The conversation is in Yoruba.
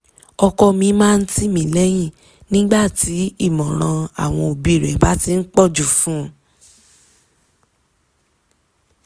ọkọ mi máa ń tì mí lẹ́yìn nígbà tí ìmọ̀ràn àwọn òbí rẹ̀ bá ti ń pọ̀jù fún un